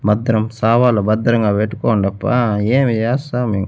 భద్రం సావాలు భద్రంగా పెట్టుకోండప్పా ఏమయ్యా సామి.